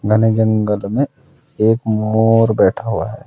घने जंगल में एक मोर बैठ हुआ है।